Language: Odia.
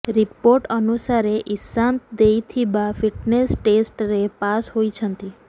ରିପୋର୍ଟ ଅନୁସାରେ ଇଶାନ୍ତ ଦେଇଥିବା ଫିଟ୍ନେସ ଟେଷ୍ଟରେ ପାସ୍ ହୋଇଛନ୍ତି